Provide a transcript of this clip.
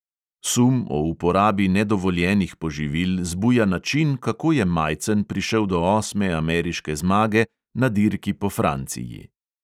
Sum o uporabi nedovoljenih poživil zbuja način, kako je majcen prišel do osme ameriške zmage na dirki po franciji.